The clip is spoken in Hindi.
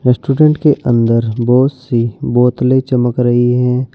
रेस्टोरेंट के अंदर बहुत सी बोतलें चमक रही हैं।